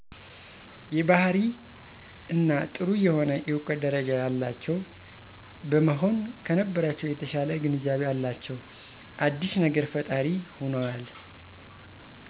የባህሪ እና ጥሩ የሆነ የእውቀት ደረጃ ያላቸው በመሆን ከነበረቻው የተሻለ ግንዛቤ አላቸው፤ አዲስ ነገር ፈጣሪ ሆነዋል